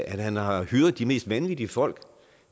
at han har hyret de mest vanvittige folk